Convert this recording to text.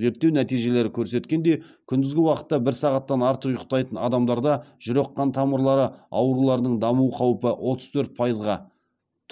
зерттеу нәтижелері көрсеткендей күндізгі уақытта бір сағаттан артық ұйықтайтын адамдарда жүрек қан тамырлары ауруларының даму қаупі отыз төрт пайызға